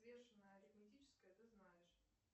взвешенное арифметическое ты знаешь